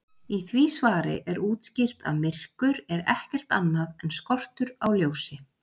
Í því svari er útskýrt að myrkur er ekkert annað en skortur á ljósi.